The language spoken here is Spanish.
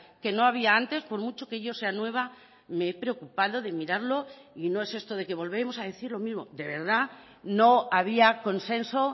que no había antes por mucho que yo sea nueva me he preocupado de mirarlo y no es esto de que volvemos a decir lo mismo de verdad no había consenso